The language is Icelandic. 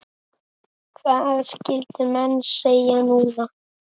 Hvað skyldu menn segja núna?